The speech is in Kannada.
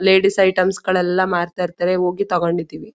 ಲೇಡೀಸ್ ಐಟೆಮ್ಸ ಗಲ್ಲೆಲ್ಲ ಮಾರ್ಥೈರ್ಥರೇ ಹೋಗಿ ತೊಗೊಂಡಿಧಿವಿ.